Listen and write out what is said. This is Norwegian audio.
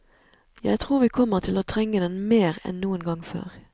Jeg tror vi kommer til å trenge den mer enn noen gang før.